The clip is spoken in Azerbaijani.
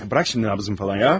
Burax indi nəbzimi zad ya.